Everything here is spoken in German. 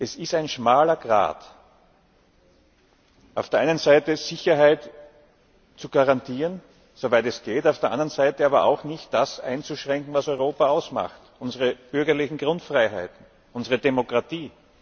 Es ist ein schmaler Grat auf der einen Seite Sicherheit zu garantieren soweit es geht auf der anderen Seite aber auch nicht das einzuschränken, was Europa ausmacht unsere bürgerlichen Grundfreiheiten, unsere Demokratie.